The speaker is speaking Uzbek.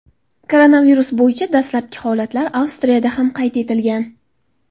Koronavirus bo‘yicha dastlabki holatlar Avstriyada ham qayd etilgan .